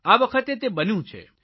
આ વખતે તે બન્યું છે